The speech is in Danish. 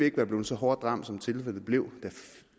ikke være blevet så hårdt ramt som tilfældet blev da